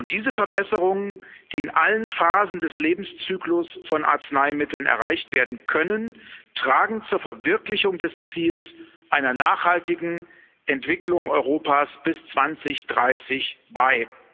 Diese Verbesserungen, die in allen Phasen des Lebenszyklus von Arzneimitteln erreicht werden können, tragen zur Verwirklichung des Ziels einer nachhaltigen Entwicklung Europas bis 2030 bei.